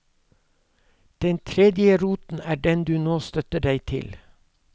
Og den tredje roten er den du nå støtter deg til.